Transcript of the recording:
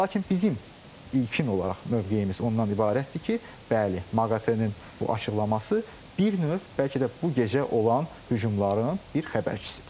Lakin bizim ilkin olaraq mövqeyimiz ondan ibarətdir ki, bəli, MAQATE-nin bu açıqlaması bir növ bəlkə də bu gecə olan hücumların bir xəbərçisidir.